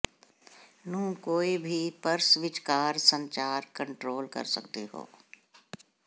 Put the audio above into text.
ਨੂੰ ਕੋਈ ਭੀ ਪਰਸ ਵਿਚਕਾਰ ਸੰਚਾਰ ਕੰਟਰੋਲ ਕਰ ਸਕਦੇ ਹੋ